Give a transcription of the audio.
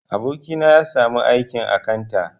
Abokina ya sami aikin akanta